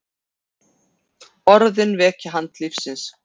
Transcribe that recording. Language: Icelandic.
Orðin vekja hana til lífsins.